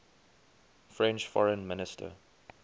french foreign minister